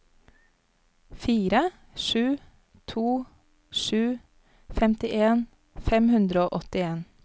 fire sju to sju femtien fem hundre og åttien